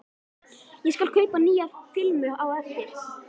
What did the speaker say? Ég skal kaupa nýja filmu á eftir.